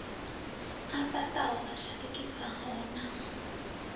a fhaṱaho a shandukisaho na